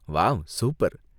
Wow, super!